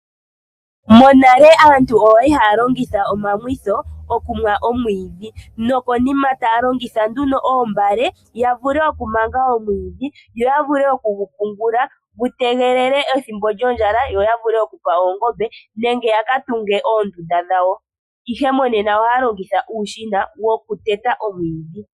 Monale aantu oyali haya longitha omamwitho okunwa omwiidhi nokonima taya longitha nduno oombale yavule okumanga omwiidhi yo yavule okugu pungula gu tegelele ethimbo lyondjala yakape oongombe nenge yaka oondunda dhowo ihe monena aantu ohaya longitha uushina wokuteta omwiidhi